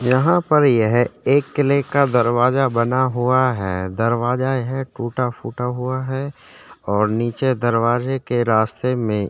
यहाँ पर यह एक किले का दरवाजा बना हुआ है दरवाजा यह टूटा फूटा हुआ है और नीचे दरवाजे के रास्ते में --